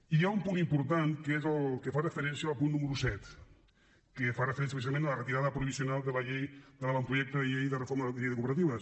i hi ha un punt important que és el que fa referència al punt número set que fa referència precisament a la retirada provisional de l’avantprojecte de llei de reforma de la llei de cooperatives